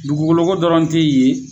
Dugugoloko dɔrɔn te yen